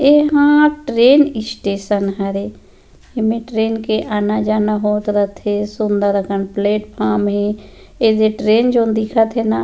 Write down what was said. एहा train station हरे एमे ट्रैन के आना-जाना होत रथे सुंदर अकन प्लेटफार्म हे एजे ट्रैन जोन दिखत हे न--